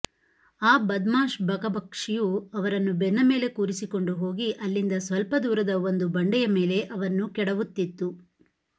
ಆ ಬದಮಾಶ್ ಬಕಪಕ್ಷಿಯು ಅವರನ್ನು ಬೆನ್ನಮೇಲೆ ಕೂರಿಸಿಕೊಂಡು ಹೋಗಿ ಅಲ್ಲಿಂದ ಸ್ವಲ್ಪ ದೂರದ ಒಂದು ಬಂಡೆಯ ಮೇಲೆ ಅವನ್ನು ಕೆಡವುತ್ತಿತ್ತು